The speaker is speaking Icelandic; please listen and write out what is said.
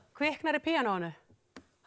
kviknar í píanóinu